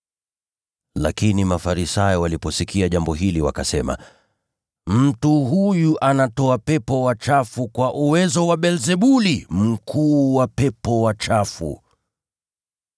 Lakini Mafarisayo waliposikia jambo hili wakasema, “Mtu huyu anatoa pepo wachafu kwa uwezo wa Beelzebuli, mkuu wa pepo wachafu.”